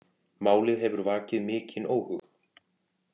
Málið hefur vakið mikinn óhug